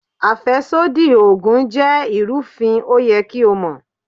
Àfẹ́sódì Ògùn jẹ́ ìrúfin, ó yẹ kí o mọ̀.